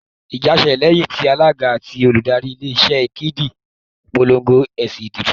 Ìjà ṣẹlẹ̀ lẹ́yìn tí Alága àti Olùdarí ilé iṣé Ínẹ́ẹ̀kì polongo èsì ìdìbò